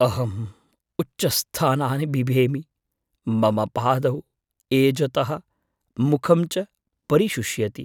अहम् उच्चस्थानानि बिभेमि, मम पादौ एजतः, मुखं च परिशुष्यति।